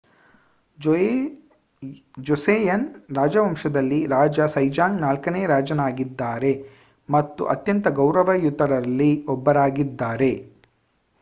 ಜೋಸೆಯನ್ ರಾಜವಂಶದಲ್ಲಿ ರಾಜ ಸೆಜಾಂಗ್ ನಾಲ್ಕನೇ ರಾಜನಾಗಿದ್ದಾರೆ ಮತ್ತು ಅತ್ಯಂತ ಗೌರವಯುತರಲ್ಲಿ ಒಬ್ಬರಾಗಿದ್ದಾರೆ